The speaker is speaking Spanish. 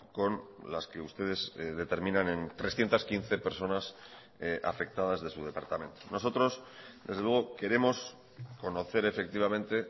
con las que ustedes determinan en trescientos quince personas afectadas de su departamento nosotros desde luego queremos conocer efectivamente